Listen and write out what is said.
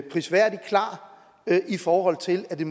prisværdig klar i forhold til at det